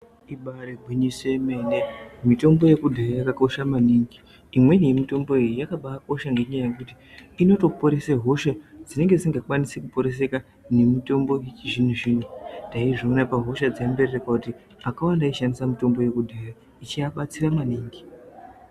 Ibari gwinyiso yemene mitombo yekudhaya yakakosha maningi imweni yemitombo iyi yakabakosha ngenyaya yekuti inotoporesa hosha dzinenge dzisingakwanisi kuporeseka nemutombo yechizvino zvino taizviona pahosha dzembererkwa kuti akawanda aishandisa mitombo yekudhaya ichiabatsira maningi.